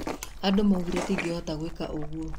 Andũ maugire ndingĩhota gwĩka ũgũo.